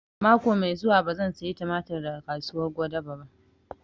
Mako mai zuwa ba zan saya tumatir daga kasuwar Gwadabe ba